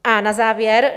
A na závěr.